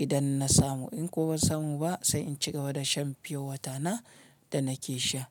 idan na samu. In kuwa ban samu ba sai in cigaba da shan piyowata na da nake sha.